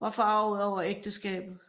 var forarget over ægteskabet